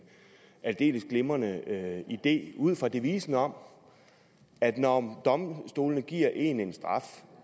aldeles glimrende idé ud fra devisen om at når domstolene giver en en straf